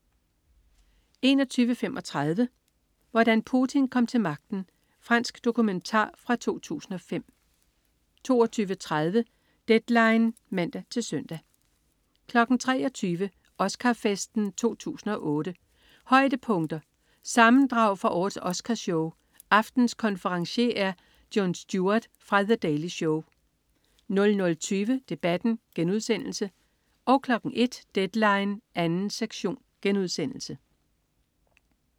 21.35 Hvordan Putin kom til magten. Fransk dokumentar fra 2005 22.30 Deadline (man-søn) 23.00 Oscar-festen 2008. Højdepunkter. Sammendrag fra årets Oscar-show. Aftenens konferencier er Jon Stewart fra "The Daily Show" 00.20 Debatten* 01.00 Deadline 2. sektion*